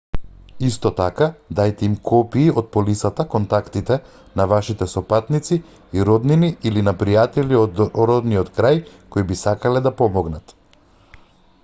исто така даjте им копии од полисата/контактите на вашите сопатници и роднини или на пријатели од родниот крај кои би сакале да помогнат